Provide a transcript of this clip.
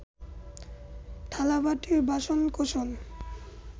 থালাবাটি, বাসনকোসন